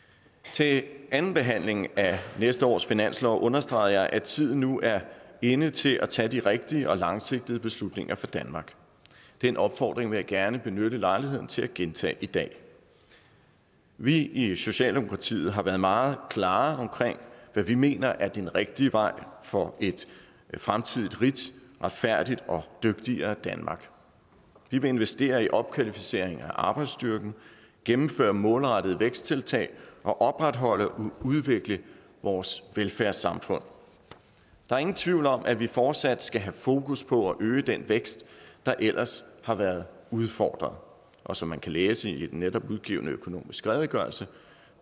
til andenbehandlingen af næste års finanslov understregede jeg at tiden nu er inde til at tage de rigtige og langsigtede beslutninger for danmark den opfordring vil jeg gerne benytte lejligheden til at gentage i dag vi i socialdemokratiet har været meget klare omkring hvad vi mener er den rigtige vej for et fremtidigt rigt retfærdigt og dygtigere danmark vi vil investere i opkvalificering af arbejdsstyrken gennemføre målrettede væksttiltag og opretholde og udvikle vores velfærdssamfund der er ingen tvivl om at vi fortsat skal have fokus på at øge den vækst der ellers har været udfordret og som man kan læse i den netop udgivne økonomiske redegørelse